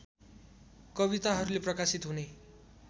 कविताहरूले प्रकाशित हुने